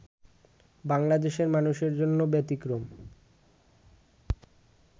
বাংলাদেশের মানুষের জন্য ব্যতিক্রম